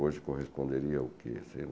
Hoje corresponderia a o que?